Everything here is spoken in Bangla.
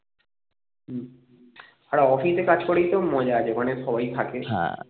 আর office এ কাজ করেই তো মজা আছে মানে সবাই থাকে